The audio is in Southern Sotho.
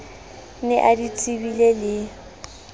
ne a di tsebile le